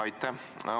Aitäh!